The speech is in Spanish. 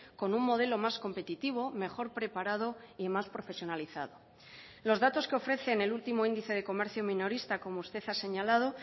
con un modelo más competitivo mejor preparado y más profesionalizado los datos que ofrece en el último índice de comercio minorista como usted ha señalado